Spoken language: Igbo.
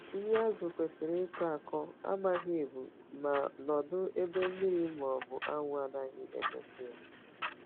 Nri azu kwesiri ịkọ akọ, amaghị ebu, ma nọdụ ebe mmiri ma ọ bụ anwụ anaghi emetụ ya